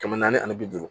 Kɛmɛ naani ani bi duuru